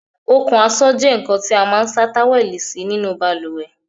Okùn aṣọ jẹ nkan tí a máa n sa táwẹ́lì sí nínú baluwẹ̀